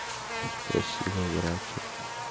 спасибо братик